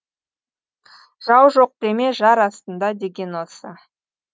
жау жоқ деме жар астында деген осы